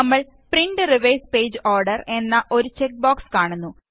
നമ്മള് print reverse page order എന്ന ഒരു ചെക്ക് ബോക്സ് കാണുന്നു